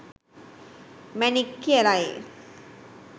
මැණික් කියලයි.